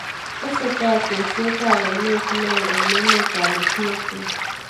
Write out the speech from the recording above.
Tesetai tekset ap aineet neo eng emet AP Ethiopia